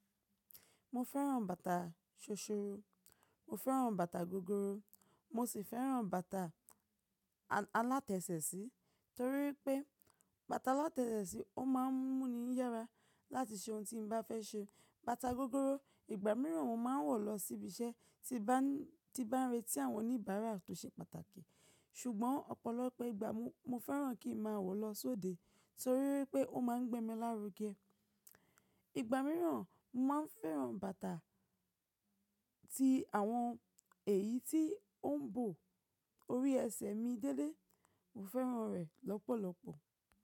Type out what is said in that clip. Mo fẹ́ràn bàtà ṣoṣoro, mo fẹ́ràn bàtà gogoro, mo sì fẹ́ràn bàtà alátẹ̀sẹ̀ sí torí wipé bàtà alátẹ̀sẹ̀ sí ó máa ń mú mi yára láti ṣe ohun tí n bá fẹ́ ṣe. Bàtà gogoro ìgbà mìíràn mo máa ń wọ̀ lọ síbi iṣẹ́ tí bá ń retí àwọn oníbàárà tó ṣe pàtàkì. Ṣùgbọ́n ọ̀pọ̀lọpọ̀ ìgbà mo fẹ́ràn kí n máa wọ̀ lọ sóde torí pé ó máa ń gbé mi lárugẹ. Ìgbà mìíràn, mo máa ń fẹ́ràn bàtà tí àwọn èyí tí ó ń bò orí ẹsẹ̀ mi déédéé, mo fẹ́ràn rẹ̀ lọ́pọ̀lọpọ̀.